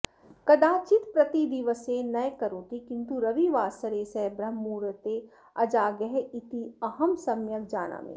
कदाचित् प्रतिदिवसे न करोति किन्तु रविवासरे सः ब्रह्ममुहूर्ते अजागः इति अहं सम्यग् जानामि